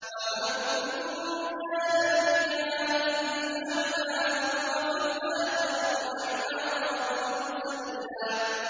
وَمَن كَانَ فِي هَٰذِهِ أَعْمَىٰ فَهُوَ فِي الْآخِرَةِ أَعْمَىٰ وَأَضَلُّ سَبِيلًا